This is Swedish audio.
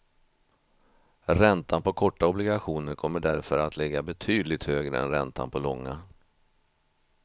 Räntan på korta obligationer kommer därför att ligga betydligt högre än räntan på långa.